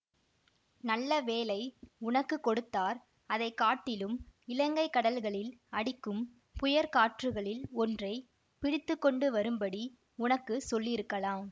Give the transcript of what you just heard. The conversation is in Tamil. நல்ல வேலை உனக்கு கொடுத்தார் அதை காட்டிலும் இலங்கை கடல்களில் அடிக்கும் புயற் காற்றுகளில் ஒன்றை பிடித்து கொண்டு வரும்படி உனக்கு சொல்லியிருக்கலாம்